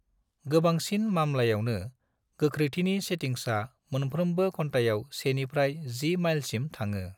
गोबांसिन मामलायावनो, गोख्रैथिनि सेटिंग्सा मोनफ्रोमबो घन्थायाव 1 निफ्राय 10 माइलसिम थाङो।